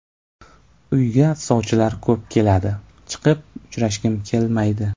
Uyga sovchilar ko‘p keladi, chiqib uchrashgim kelmaydi.